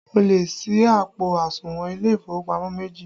O lè sí àpò àsùnwọ̀n ilé ìfowópamọ́ méjì